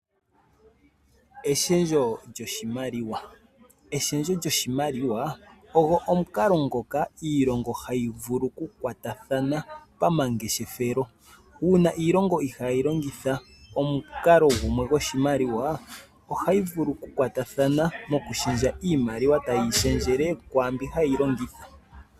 Eshendjo lyoshimaliwa Eshendjo lyoshimaliwa ogo omukalo ngoka iilongo hayi vulu okukwathathana pamangeshefelo. Uuna iilongo ohayi longitha omukalo gumwe goshimaliwa ohayi vulu okukwatathana mokushendjele iimaliwa tayi shendjele kwaambi hayi longitha.